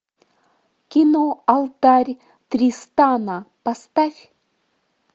кино алтарь тристана поставь